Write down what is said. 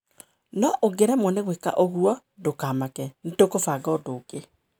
No ũngĩremwo nĩ gwĩka ũguo, ndũkamake, nĩ tũkũbanga ũndũ ũngĩ.